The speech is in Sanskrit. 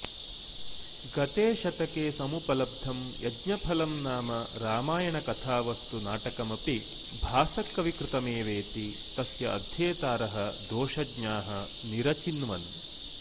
गते शतके समुपलब्धम् यज्ञफलम् नाम रामायणकथावस्तु नाटकमपि भासकविकृतमेवेति तस्य अध्येतारः दोषज्ञाः निरचिन्वन्